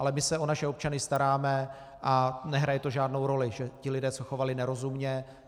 Ale my se o naše občany staráme a nehraje to žádnou roli, že ti lidé se chovali nerozumně.